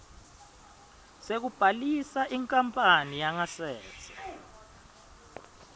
sekubhalisa inkapani yangasese